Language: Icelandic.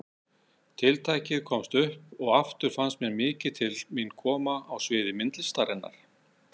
Tiltækið komst upp og aftur fannst mér mikið til mín koma á sviði myndlistarinnar.